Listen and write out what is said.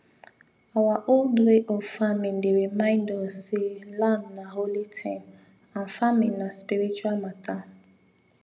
our old way of farming dey remind us say land na holy thing and farming na spiritual matter